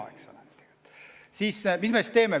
Mis me siis teeme?